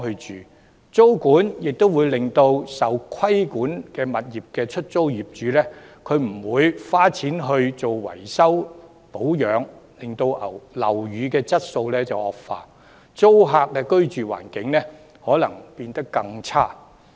此外，租管會令受規管物業的業主不願花錢維修保養單位，令樓宇質素惡化，租戶的居住環境可能變得更差。